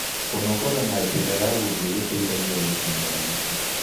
Kũnogora na njĩra ya gũthĩe gũteĩthagĩa gũchĩna magũta